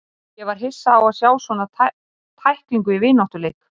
Ég var hissa á að sjá svona tæklingu í vináttuleik.